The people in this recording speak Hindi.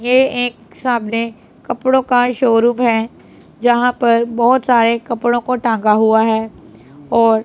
ये एक सामने कपड़ों का शोरूम है जहां पर बहुत सारे कपड़ों को टांगा हुआ है और--